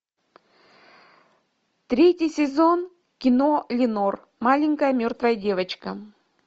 третий сезон кино ленор маленькая мертвая девочка